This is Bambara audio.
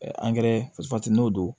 angɛrɛ n'o don